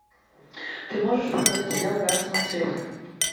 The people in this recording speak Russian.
ты можешь показать сериал гора самоцветов